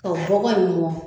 Ɔ bɔgɔ in mɔn.